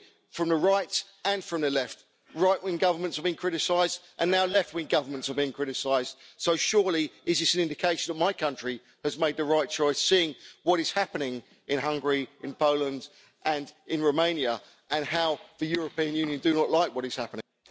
From the right and from the left right wing governments have been criticised, and now left wing governments are being criticised. Surely it is an indication that my country has made the right choice, seeing what is happening in Hungary, in Poland and in Romania, and seeing how the European Union does not like what is happening?